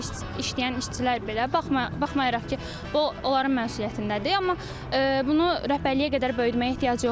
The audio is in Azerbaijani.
Orda işləyən işçilər belə baxmayaraq ki, bu onların məsuliyyətindədir, amma bunu rəhbərliyə qədər böyütməyə ehtiyac yoxdur.